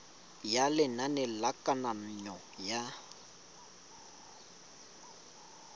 ya lenane la kananyo ya